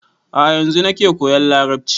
A'a yanzu nake koyan larabci